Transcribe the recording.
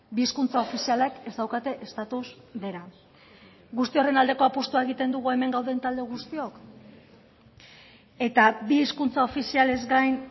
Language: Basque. bi hizkuntza ofizialak ez daukate estatus bera guzti horren aldeko apustua egiten dugu hemen gauden talde guztiok eta bi hizkuntza ofizialez gain